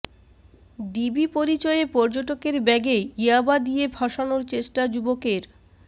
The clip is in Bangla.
ডিবি পরিচয়ে পর্যটকের ব্যাগে ইয়াবা দিয়ে ফাঁসানোর চেষ্টা যুবকের